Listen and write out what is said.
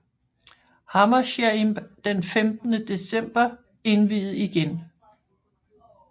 Hammershaimb den 15 december indviet igen